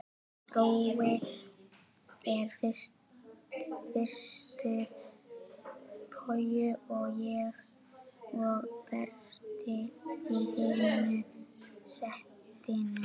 Brói í fyrstu koju, ég og Berti í hinu settinu.